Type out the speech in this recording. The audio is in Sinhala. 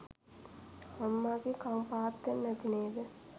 අම්මගෙ කං පාත් වෙන්න ඇති නේද